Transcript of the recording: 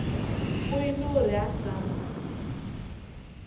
o eno re a sa